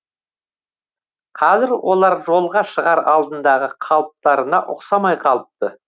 қазір олар жолға шығар алдындағы қалыптарына ұқсамай қалыпты